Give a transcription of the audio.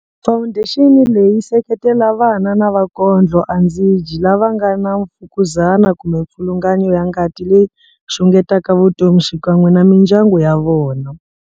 Fawundexini leyi seketela vana na vakondlo andzi dyi lava nga na mfukuzana kumbe mipfilungano ya ngati leyi xungetaka vutomi xikan'we na mindyangu ya vona.